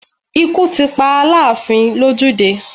Ikú ti pa Aláàfin lójú dé